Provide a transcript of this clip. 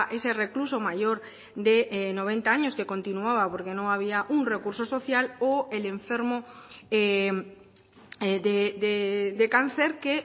ese recluso mayor de noventa años que continuaba porque no había un recurso social o el enfermo de cáncer que